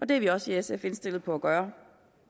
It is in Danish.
det er vi også i sf indstillet på at gøre